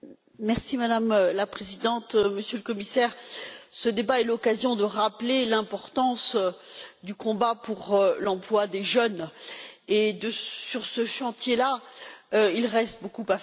Madame la Présidente, Monsieur le Commissaire, ce débat est l'occasion de rappeler l'importance du combat pour l'emploi des jeunes et, sur ce chantier, il reste beaucoup à faire.